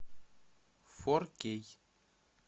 фор кей